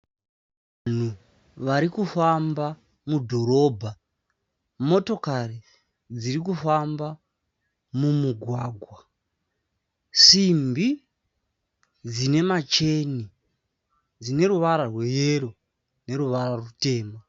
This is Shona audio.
Vanhu varikufamba mudhorobha. Motokari dzirikufamba mumugwagwa. Simbi dzinemacheni, dzineruvara rweyero neruvara rutema.